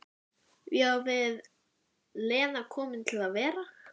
Ég á við, Lena komin til að vera?